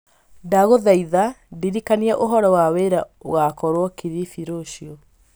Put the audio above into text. Ndagũthaitha, ndirikania ũhoro wa wĩra ũgaakorũo kilifi rũciũ.